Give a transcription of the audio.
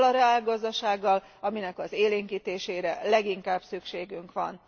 Azzal a reálgazdasággal, amelynek az élénkítésére leginkább szükségünk van.